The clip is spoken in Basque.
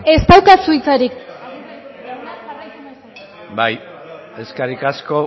ez daukazu hitzarik aguirre jauna jarraitu mesedez bai eskerrik asko